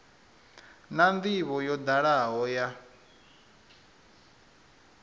na ndivho yo dalaho ya